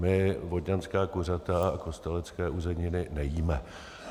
My vodňanská kuřata a kostelecké uzeniny nejíme.